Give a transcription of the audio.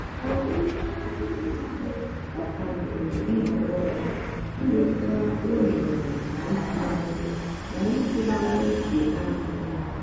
ka emechara ihe niile ọ kwanyere nhọrọ m ịweta ohere na ịtụgharị na ịtụgharị uche naanị ya.